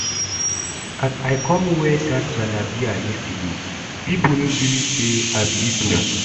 As I come wear that jalabiya yesterday, people no believe say I be igbo